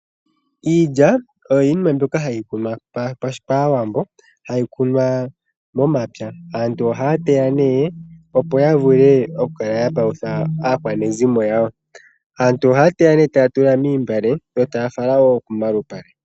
Iilya oyo yimwe mbyoka hayi kunwa kAawambo, hayi kunwa momapya. Aantu ohaya teya opo yavule okukala yapalutha aakwanezimo yawo. Aantu ohaya teya taya tula miimbale yo taya fala komalupale.